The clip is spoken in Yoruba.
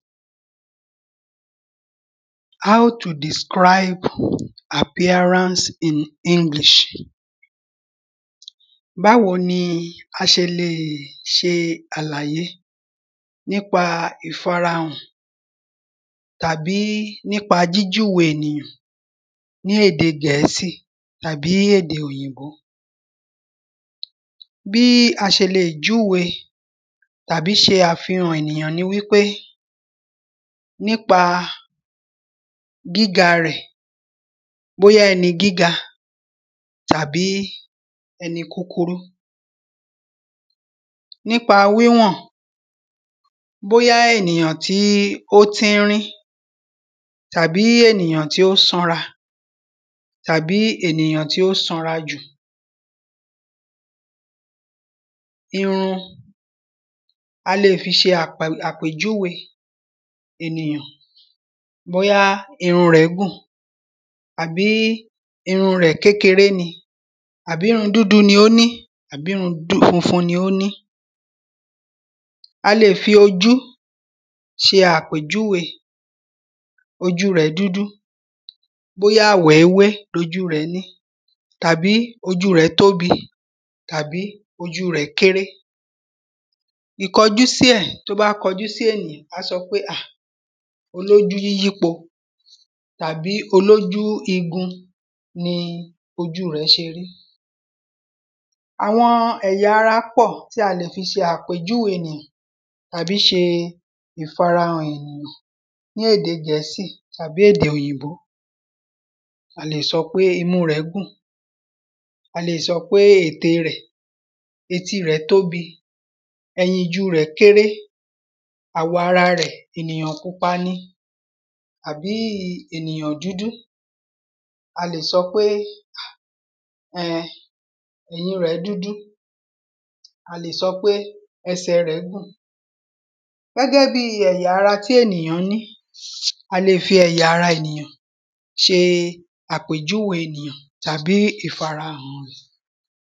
How to describe appearance in English Báwo ni a ṣe lè ṣe àlàyé nípa ìfarahàn tàbí nípa jíjúwe ènìyàn ní èdè Gẹ̀ẹ́sì àbí èdè òyìnbó Bí a ṣe lè júwe tàbí ṣe àfihàn ènìyàn ni wípé Nípa gíga rẹ̀ bóyá ẹni gíga tàbí ẹni kíkurú Nípa wíwọ̀n bóyá ènìyàn tí ó tíínrín tàbí ènìyàn tí ó sanra àbí ènìyàn tí ó sanra jù Irun a lè fi ṣe àpèjúwe ènìyàn bóyá irun rẹ̀ gùn àbí irun rẹ̀ kékeré ni tàbí irun dúdú ni ó ní àbí irun funfun ni ó ní A lè fi ojú ṣe àpèjúwe Ojú rẹ̀ dúdú bóyá wèéwé ni ojú rẹ̀ ni tàbí ojú rẹ̀ tóbi tàbí ojú rẹ̀ kéré Ìkọ́jusí ẹ̀ Tí o bá kọjú sí ènìyàn à á sọ pé à olójú yíyípo tàbí olójú igun ni ojú rẹ̀ ṣe rí Àwọn ẹ̀yà ara pọ̀ tí a lè fi ṣe àpèjúwe ènìyàn tàbí ṣe ìfarahàn ènìyàn ní Èdè Gẹ̀ẹ́sì tàbí èdè òyìǹbó A lè sọ pé imú rẹ̀ gùn A lè sọ pe ètè rẹ̀ eti rẹ̀ tóbi ẹyinju ́rẹ̀ kéré àwọ̀ ara rẹ̀ ènìyàn púpa ni àbí ènìyàn dúdú A lè sọ pe um eyin rẹ̀ dúdú A lè sọ pé ẹsẹ̀ rẹ̀ gùn Gẹ́gẹ́ bíi ẹ̀yà ara tí ènìyàn ní a lè fi ẹ̀yà ara ènìyàn ṣe àpèjúwe ènìyàn tàbí ìfarahàn ẹ̀